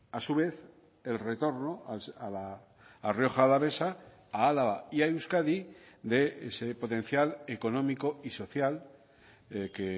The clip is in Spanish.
a su vez el retorno a rioja alavesa a álava y a euskadi de ese potencial económico y social que